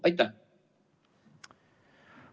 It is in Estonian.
Aitäh!